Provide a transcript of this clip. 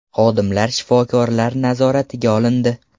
Xodimlar shifokorlar nazoratiga olindi.